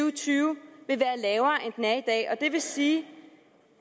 og tyve vil være lavere end den er i dag og at det vil sige